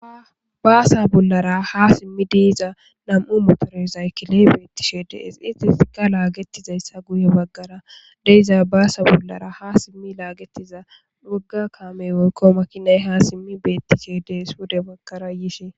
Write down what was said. Baasa bollara ha simmi diiza nam7u motoresaykile beettishede is itisika laagetizayssa guye baggara deiza baasa bollara ha simmi laagetiza wogga kaamey woykko makinay ha simmi beettishede swude baggara yishe.